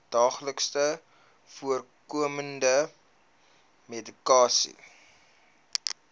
daagliks voorkomende medikasie